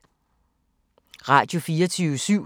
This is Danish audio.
Radio24syv